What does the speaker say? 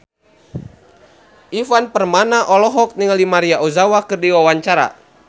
Ivan Permana olohok ningali Maria Ozawa keur diwawancara